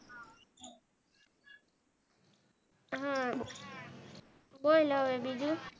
હ બોલ હવે બીજું